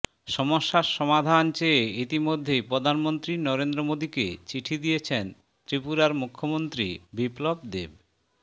সমস্যার সমাধান চেয়ে ইতিমধ্যেই প্রধানমন্ত্রী নরেন্দ্র মোদীকে চিঠি দিয়েছেন ত্রিপুরার মুখ্যমন্ত্রী বিপ্লব দেব